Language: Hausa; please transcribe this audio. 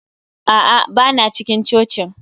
A'a, ba na cikin cocin